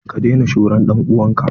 Ka daina shura dan'uwan ka!